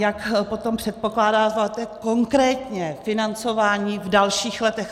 Jak potom předpokládáte konkrétně financování v dalších letech?